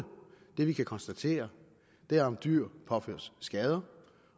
det vi kan konstatere er om dyr påføres skader